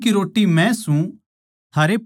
जीवन की रोट्टी मै सूं